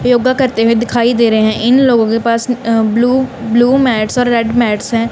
योगा करते हुए दिखाई दे रहे हैं। इन लोगों के पास ब्लू-ब्लू मैट्स और रेड मैट्स हैं।